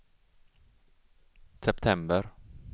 september